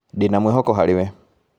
Ndĩna mwĩhoko harĩ we